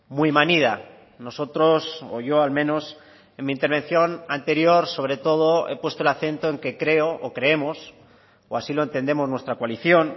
muy manida nosotros o yo al menos en mi intervención anterior sobre todo he puesto el acento en que creo o creemos o así lo entendemos nuestra coalición